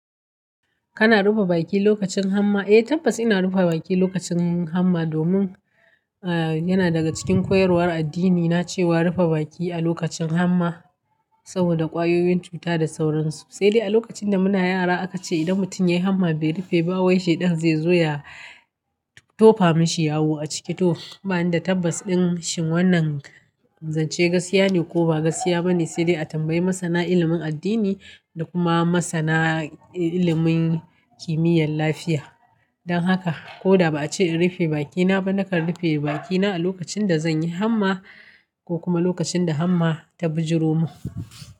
Kana rufe baki lokacin hamma? Eh tabbas ina rufe baki lokacin hamma domin a yana daga cikin koyarwar addini na cewa rufe baki a lokacin hamma saboda kwayoyin cuta da sauransu. Sai dai a lokacin da muna yara aka ce idan mutum ya yi hamma bai rufe ba wai shaidan zai zo ya tofa mishi yawo a ciki to. Ba ni da tabbacin shin wannan zance gaskiya ne ko ba gaskiya bane. Sai dai a tambayi masana ilimin addini da kuma masana ilimin kimiyyar lafiya. Don haka ko da ba a ce in rufe bakina ba, nakan rufe bakina a lokacin da zan yi hamma ko kuma lokacin da hamma ta bijiru mun.